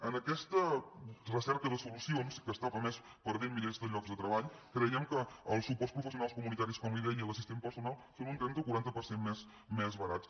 en aquesta recerca de solucions que està a més perdent milers de llocs de treball creiem que els suports professionals comunitaris com li deia i l’assistent personal són un trenta o un quaranta per cent més barats